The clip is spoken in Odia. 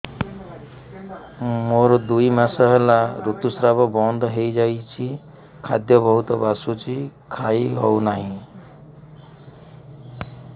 ମୋର ଦୁଇ ମାସ ହେଲା ଋତୁ ସ୍ରାବ ବନ୍ଦ ହେଇଯାଇଛି ଖାଦ୍ୟ ବହୁତ ବାସୁଛି ଖାଇ ହଉ ନାହିଁ